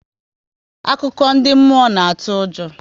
Akụkọ ndị mmụọ na-atụ ụjọ